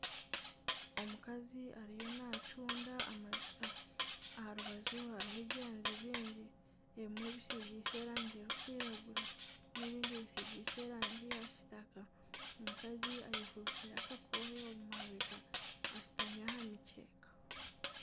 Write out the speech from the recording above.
Omukazi ariyo nacunda amajuta aharubaju hariho ebyanzi bingi ebimwe bisigiise erangi erikwiragura nana ebindi bisigiise erangi ya kitaka omukazi ayefubikire akakoohe omu mabega ashutami aha mikyeeka .